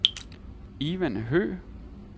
Ivan Høgh